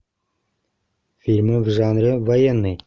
фильмы в жанре военный